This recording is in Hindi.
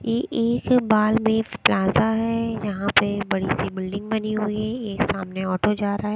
ये एक बाल बेस प्लाजा है यहां पे बड़ी सी बिल्डिंग बनी हुई है एक सामने ऑटो जा रहा--